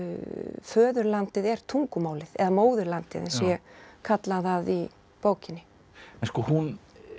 föðurlandið er tungumálið eða móðurlandið eins og ég kalla það í bókinni en hún